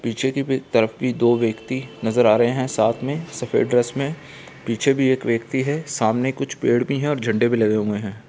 पीछे की तरफ भी दो व्यक्ति नजर आ रहे है साथ में सफेद ड्रेस में पीछे भी एक व्यक्ति है सामने कुछ पेड़ भी है और झंडे भी लगे हुए है।